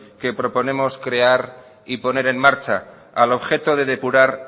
que proponemos crear y poner en marcha al objeto de depurar